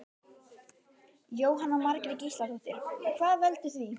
Jóhanna Margrét Gísladóttir: Og hvað veldur því?